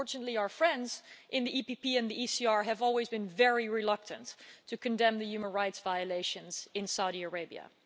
Unfortunately, our friends in the EPP and the ECR have always been very reluctant to condemn the human rights violations in Saudi Arabia.